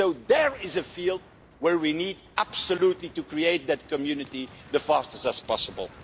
So there is a field where we need absolutely to create that community as fast as possible.